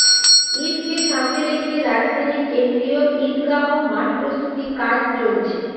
ঈদকে সামনে রেখে রাজধানীর কেন্দ্রীয় ঈদগাঁহ মাঠ প্রস্ততি কাজ চলছে